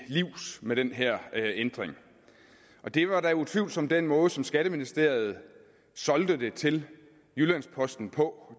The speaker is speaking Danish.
livs med den her ændring det var da utvivlsomt den måde som skatteministeriet solgte det til jyllands posten på